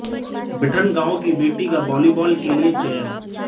बिठन गांव की बेटी का वाॅलीबाल के लिए चयन